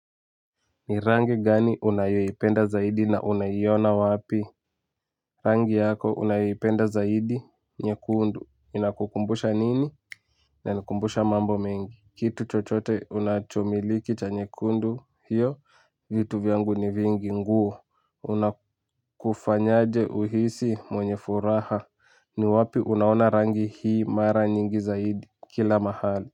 Ni rangi gani unayoipenda zaidi na unaiona wapi? Rangi yako unayoipenda zaidi nyekundu. Inakukumbusha nini inanikumbusha mambo mengi. Kitu chochote unachomiliki cha nyekundu hiyo, vitu vyangu ni vingi nguo. Unakufanyaje uhisi mwenye furaha ni wapi unaona rangi hii mara nyingi zaidi kila mahali.